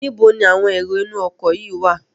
Níbo ni àwọn èrò inú ọkọ̀ yìí wá?